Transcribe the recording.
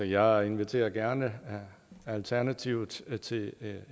jeg inviterer gerne alternativet til til